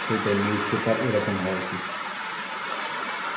সেরকম newspaper হওয়া উচিত,